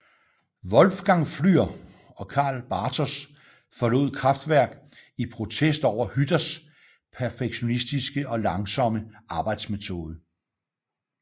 Wolfgang Flür og Karl Bartos forlod Kraftwerk i protest over Hütters perfektionistiske og langsomme arbejdsmetode